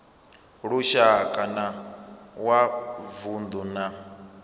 lushaka na wa vundu na